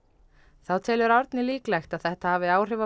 þá telur Árni líklegt að þetta hafi áhrif á